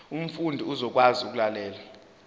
umfundi uzokwazi ukulalela